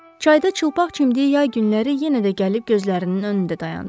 Çayda çılpaq çimdiyi yay günləri yenə də gəlib gözlərinin önündə dayandı.